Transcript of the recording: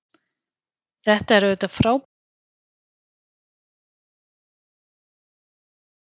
Þetta er auðvitað frábær reynsla en þessu nýja hlutverki fylgir líka mikil ábyrgð.